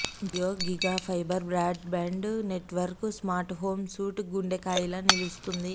Jio GigaFiber broadband నెట్వర్క్కు smart home suite గుండెకాయిలా నిలుస్తుంది